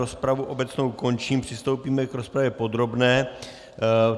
Rozpravu obecnou končím, přistoupíme k rozpravě podrobné.